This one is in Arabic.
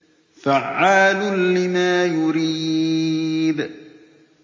فَعَّالٌ لِّمَا يُرِيدُ